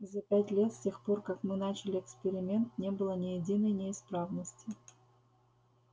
за пять лет с тех пор как мы начали эксперимент не было ни единой неисправности